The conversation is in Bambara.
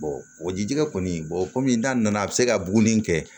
o jijigɛ kɔni komi n'a nana a bɛ se ka buguni kɛ